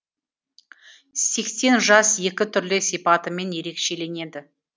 сексен жас екі түрлі сипатымен ерекшеленеді